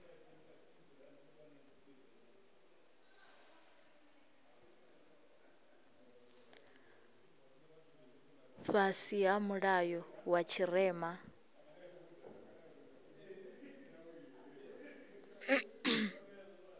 fhasi ha mulayo wa tshirema